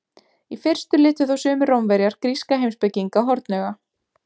Í fyrstu litu þó sumir Rómverjar gríska heimspekinga hornauga.